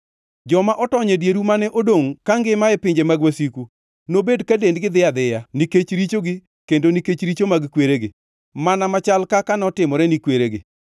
Joma otony e dieru mane odongʼ kangima e pinje mag wasiku nobed ka dendgi dhi adhiya nikech richogi kendo nikech richo mag kweregi, mana machal kaka notimore ni kweregi.